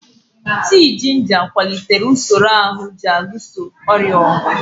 Tii jinja kwalitere usoro ahụ ji alụso ọrịa ọgụ.